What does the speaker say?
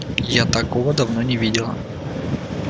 я такого давно не видела